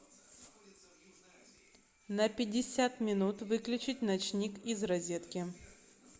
на пятьдесят минут выключить ночник из розетки